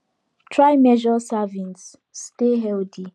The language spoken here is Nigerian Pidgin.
try measure servings stay healthy